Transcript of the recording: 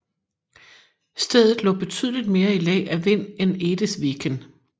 Stedet lå betydeligt mere i læ af vind end Edesviken